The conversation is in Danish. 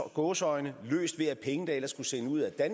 gåseøjne bare løst ved at penge der ellers skulle sendes ud af